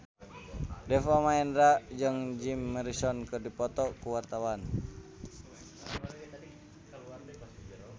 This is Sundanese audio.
Deva Mahendra jeung Jim Morrison keur dipoto ku wartawan